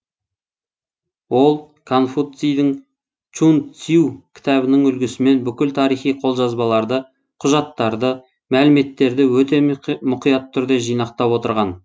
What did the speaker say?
ол конфуцийдің чуньцю кітабының үлгісімен бүкіл тарихи қолжазбаларды құжаттарды мәліметтерді өте мұқият түрде жинақтап отырған